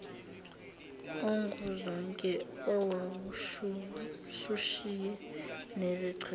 onguzonke owawusushiye nezicathulo